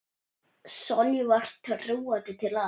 Sonju var trúandi til alls.